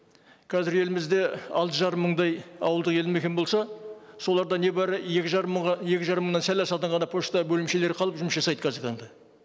қазір елімізде алты жарым мыңдай ауылдық елді мекен болса соларда не бары екі жарым мыңға екі мыңнан сәл асатын ғана пошта бөлімшелері қалып жұмыс жасайды қазіргі таңда